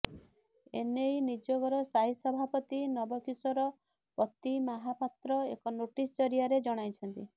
ଏନେଇ ନିଯୋଗର ସ୍ଥାୟୀ ସଭାପତି ନବ କିଶୋର ପତିମାହାପାତ୍ର ଏକ ନୋଟିସ୍ ଜରିଆରେ ଜଣାଇଛନ୍ତି